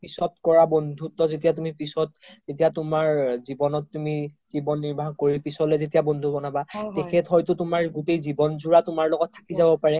পিছত কৰা বন্ধুত্ব যেতিয়া তুমি পিছত যেতিয়া তুমাৰ জিৱনত তুমি জিৱন নিৰ্ভা কৰি পিছলে তুমি যেতিয়া বন্ধু বনাবা তেখেত হয়তো তুমাৰ গোতেই জিৱন জোৰা তুমাৰ লগত থাকি যাব পাৰে